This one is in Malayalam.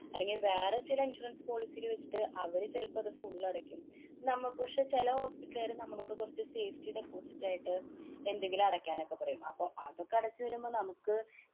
അല്ലെങ്കി വേറെ ചെല insurance policy യില് വച്ചിട്ട് അവര് ചെലപ്പം അത് full അടയ്ക്കും. നമ്മക്ക് പഷെ ചെല hospital കാര് നമ്മളോട് കുറച്ചു safety deposit ആയിട്ട് എന്തെങ്കിലും അടയ്ക്കാനോക്കെ പറയും. അപ്പൊ അതൊക്കെ അടച്ചു വരുമ്പോ നമുക്ക്